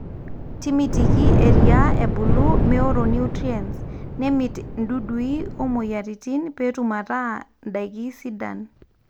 timitiki eriaa ebulu meworo nutrients, nemit dudui o moyiaritin peetum ataa ndaiki sidan